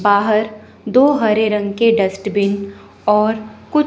बाहर दो हरे रंग के डस्टबिन और कुछ--